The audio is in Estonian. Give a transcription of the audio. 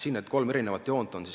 Siin on kolm erinevat joont.